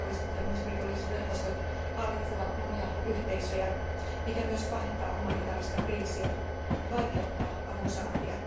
Terroristit ja muut rikollisverkostot hallitsevat monia yhteisöjä, mikä myös pahentaa humanitaarista kriisiä ja vaikeuttaa avun saantia.